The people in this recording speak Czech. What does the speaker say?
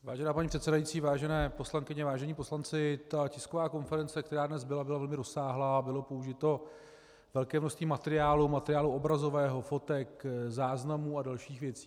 Vážená paní předsedající, vážené poslankyně, vážení poslanci, ta tisková konference, která dnes byla, byla velmi rozsáhlá a bylo použito velké množství materiálu, materiálu obrazového, fotek, záznamů a dalších věcí.